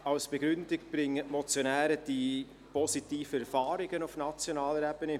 Als Begründung bringen die Motionäre die positiven Erfahrungen auf nationaler Ebene.